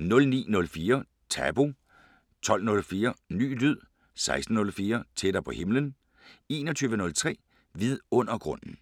09:04: Tabu 12:04: Ny lyd 16:04: Tættere på himlen 21:03: Vidundergrunden